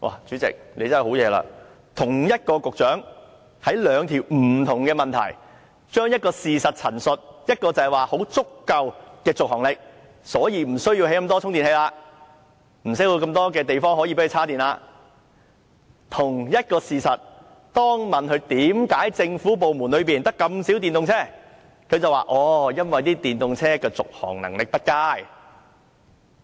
主席，真厲害，對同一項事實的陳述，同一位局長回答兩項不同的質詢時，一方面可以說續航力十分足夠，所以無須興建那麼多充電器，無須要那麼多地方充電；但同一個事實，當被問及為何政府部門中，只有這麼少電動車，他便說因為電動車的續航力不佳。